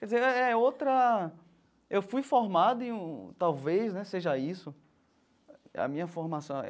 Quer dizer, é é outra... eu fui formado em um... talvez né seja isso. A minha formação.